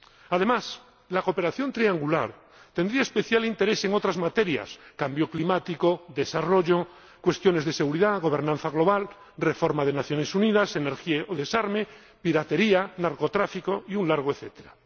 Además, la cooperación triangular tendría especial interés en otras materias cambio climático, desarrollo, cuestiones de seguridad, gobernanza global, reforma de las Naciones Unidas, energía, desarme, piratería, narcotráfico y un largo etcétera.